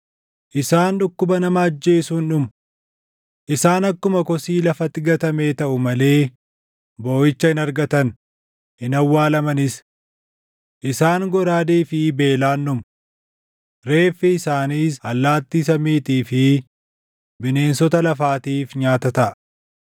“Isaan dhukkuba nama ajjeesuun dhumu. Isaan akkuma kosii lafatti gatamee taʼu malee booʼicha hin argatan; hin awwaalamanis. Isaan goraadee fi beelaan dhumu. Reeffi isaaniis allaattii samiitii fi bineensota lafaatiif nyaata taʼa.”